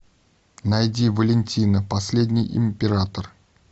найди валентина последний император